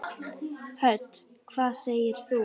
Hödd: Hvað segir þú?